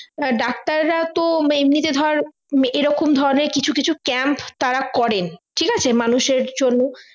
ডাক্তাররা তো এমনিতে ধর এরকম ধরণের কিছু কিছু camp তারা করেন ঠিক আছে মানুষের জন্য